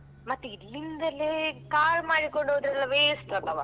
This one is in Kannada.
ಮತ್ತೆ ಇಲ್ಲಿಂದಲ್ಲೇ car ಮಾಡಿಕೊಂಡು ಹೊದ್ರೆಲ್ಲಾ waste ಅಲ್ಲವಾ?